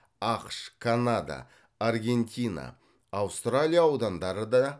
ақш канада аргентина аустралия аудандары да